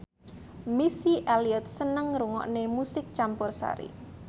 Missy Elliott seneng ngrungokne musik campursari